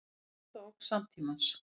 Stærsta ógn samtímans